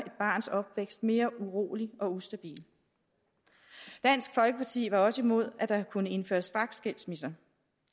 barns opvækst mere urolig og ustabil dansk folkeparti var også imod at der kunne indføres straksskilsmisser